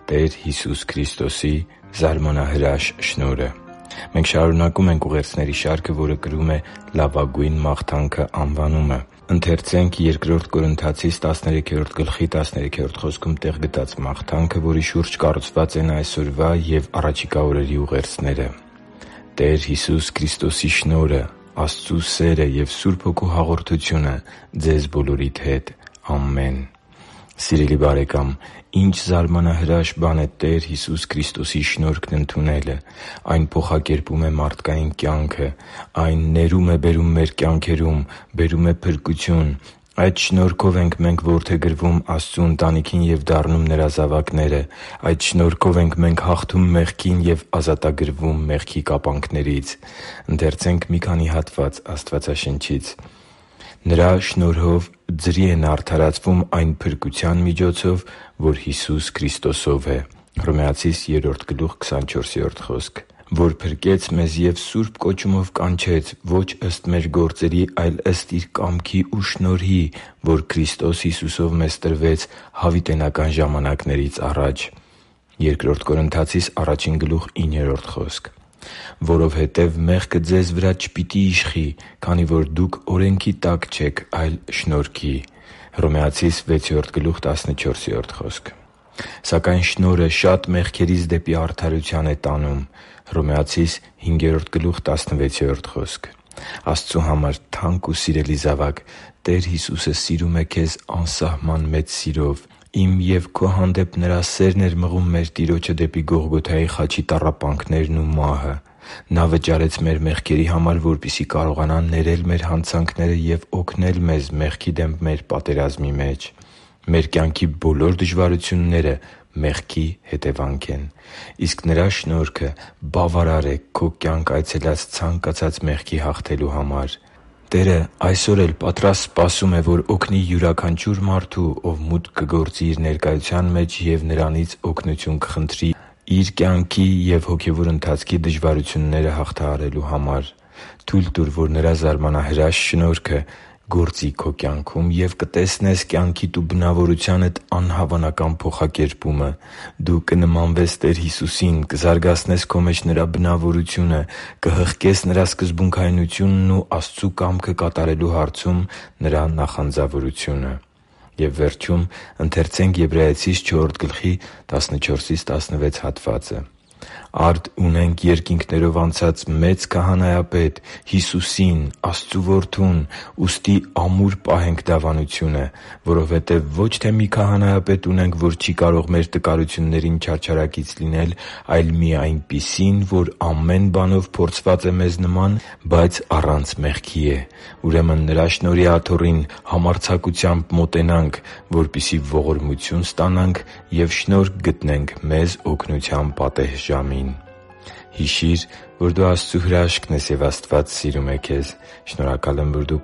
Տեր Հիսուս Քրիստոսի զարմանահրաշ շնորհը Մենք շարունակում ենք ուղերձների շարքը, որը կրում է «Լավագույն մաղթանքը» անվանումը։ Ընթերցե՛նք Բ Կորնթացիս 13:13 խոսքում տեղ գտած մաղթանքը, որի շուրջ կառուցված են այսօրվա և առաջիկա օրերի ուղերձները․ «Տեր Հիսուս Քրիստոսի շնորհը, Աստծու սերը և Սուրբ Հոգու հաղորդությունը ձեզ բոլորիդ հետ։ Ամեն» (Բ Կորնթացիս 13․13): Սիրելի՛ բարեկամ, ի՜նչ զարմանահրաշ բան է Տեր Հիսուս Քրիստոսի շնորհքն ընդունելը։ Այն փոխակերպում է մարդկային կյանքը։ Այն ներում է բերում մեր կյանքերում։ Բերում է փրկություն։ Այդ շնորհքով ենք մենք որդեգրվում Աստծու ընտանիքին և դառնում Նրա զավակները։ Այդ շնորհքով ենք մենք հաղթում մեղքին և ազատագրվում մեղքի կապանքներից։ «Նրա շնորհով ձրի են արդարացվում այն փրկության միջոցով, որ Հիսուս Քրիստոսով է» (Հռոմեացիս 3․24): «․․․որ փրկեց մեզ և սուրբ կոչումով կանչեց՝ ոչ ըստ մեր գործերի, այլ ըստ Իր կամքի ու շնորհի, որ Քրիստոս Հիսուսով մեզ տրվեց հավիտենական ժամանակներից առաջ» (Բ Տիմոթեոս 1․9): «Որովհետև մեղքը ձեզ վրա չպիտի իշխի, քանի որ օրենքի տակ չեք, այլ շնորհի» (Հռոմեացիս 6․14): «․․․ սակայն շնորհը շատ մեղքերից դեպի արդարություն է տանում» (Հռոմեացիս 5․16): Աստծու համար թանկ ու սիրելի՛ զավակ, Տեր Հիսուսը սիրում է քեզ անսահման սիրով։ Իմ և քո հանդեպ Նրա սերն էր մղում մեր Տիրոջը դեպի Գողգոթայի խաչի տառապանքներն ու մահը։ Նա վճարեց մեր մեղքերի համար, որպեսզի կարողանա ներել մեզ մեր հանցանքները և օգնել մեզ մեղքի դեմ մեր պատերազմի մեջ։ Մեր կյանքի բոլոր դժվարությունները մեղքի պատճառով են, իսկ Նրա շնորհքը բավարար է քո կյանք այցելած ցանկացած մեղքի հաղթելու համար։ Տերը այսօր էլ պատրաստ սպասում է, որ օգնի յուրաքանչյուր մարդու, որ մուտք կգործի Իր ներկայության մեջ և Նրանից օգնություն կխնդրի իր կյանքի ու հոգևոր ընթացքի դժվարությունները հաղթահարելու համար։ Թո՛ւյլ տուր, որ Նրա զարմանահրաշ շնորհքը գործի քո կյանքում, և կտեսնե՛ս կյանքիդ ու բնավորությանդ անհավանական փոխակերպումը։ Դու կնմանվես Տեր Հիսուսին՝ կզարգացնես քո մեջ Նրա բնավորությունը, կհղկես Նրա սկզբունքայնությունն ու Աստծու կամքը կատարելու հարցում Նրա նախանձավորությունը։ «Արդ ունենք երկինքներով անցած մեծ Քահանայապետ՝ Հիսուսին՝ Աստծու Որդուն, ուստի ամուր պահենք դավանությունը։ Որովհետև ոչ թե մի քահանայապետ ունենք, որ չի կարող մեր տկարություններին չարչարակից լինել, այլ մի այնպիսին, որ ամեն բանով փորձված է մեզ նման, բայց առանց մեղքի է։ Ուրեմն Նրա շնորհի աթոռին համարձակությամբ մոտենանք, որպեսզի ողորմություն ստանանք ու շնորհ գտնենք մեզ օգնության պատեհ ժամին» (Եբրայեցիս 4․14-16): Հիշի՛ր, որ դու Աստծո հրաշքն ես, և Աստված սիրում է քեզ։ Շնորհակալ եմ, որ դու